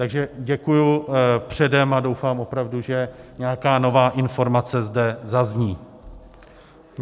Takže děkuji předem a doufám opravdu, že nějaká nová informace zde zazní.